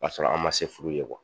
Kasɔrɔ an ma se furu ye wa?